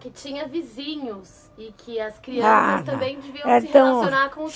Que tinha vizinhos e que as crianças também deviam se relacionar com os